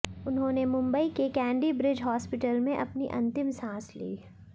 उन्होंने मुंबई के Candy Bridge Hospital में अपनी अंतिम सांस ली